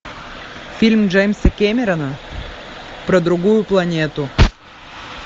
фильм джеймса кэмерона про другую планету